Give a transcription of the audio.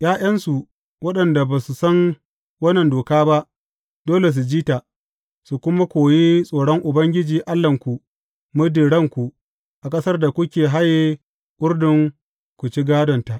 ’Ya’yansu, waɗanda ba su san wannan doka ba, dole su ji ta, su kuma koyi tsoron Ubangiji Allahnku muddin ranku a ƙasar da kuke haye Urdun ku ci gādonta.